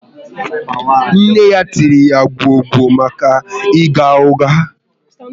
Nne ya tiri ya gwọọ gwo maka ịgha ụgha